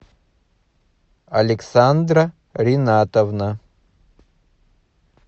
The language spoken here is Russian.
александра ринатовна